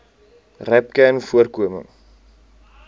rapcanvoorkoming